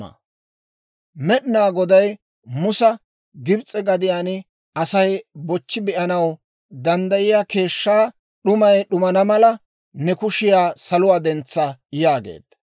Med'inaa Goday Musa, «Gibs'e gadiyaan Asay bochchi be'anaw danddayiyaa keeshshaa d'umay d'umana mala, ne kushiyaa saluwaa dentsa» yaageedda.